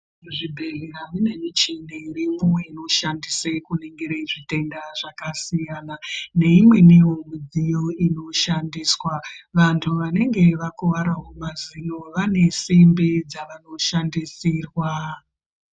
Muzvibhehlera mune michini irimwo inoshandise kuringire zvitenda zvakasiyana neimweniwo midziyo inoshandiswa vantu vanenge vakuwarawo mazino vane simbi dzavanoshandisirwa.